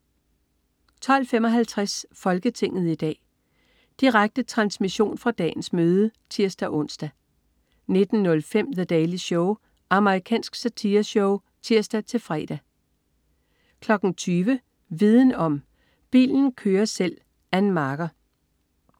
12.55 Folketinget i dag. Direkte transmission fra dagens møde (tirs-ons) 19.05 The Daily Show. Amerikansk satireshow (tirs-fre) 20.00 Viden om: Bilen kører selv. Ann Marker